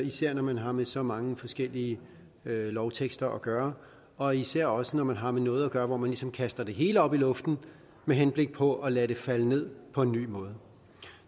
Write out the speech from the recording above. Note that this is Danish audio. især når man har med så mange forskellige lovtekster at gøre og især også når man har med noget hvor man ligesom kaster det hele op i luften med henblik på at lade det falde ned på en ny måde